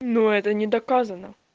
ну это не доказано